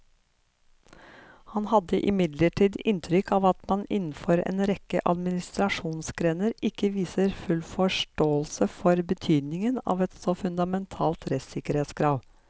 Han hadde imidlertid inntrykk av at man innenfor en rekke administrasjonsgrener ikke viste full forståelse for betydningen av et så fundamentalt rettssikkerhetskrav.